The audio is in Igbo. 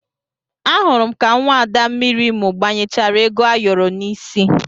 Ahụrụ m ka nwaada mmiri Imo gbanyechara ego ayoro n'isi